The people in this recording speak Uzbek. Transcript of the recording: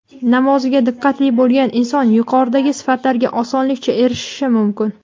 namoziga diqqatli bo‘lgan inson yuqoridagi sifatlarga osonlikcha erishishi mumkin.